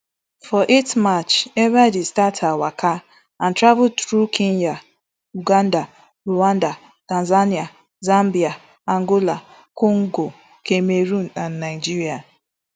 for eight march ebaide start her waka and travel through kenya uganda rwanda tanzania zambia angola congo cameroon and nigeria